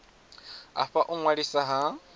a fha u ṅwaliswa ha